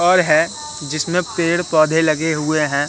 Hall है जिसमें पेड़ पौधे लगे हुए हैं।